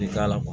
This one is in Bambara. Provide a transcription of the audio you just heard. I k'a la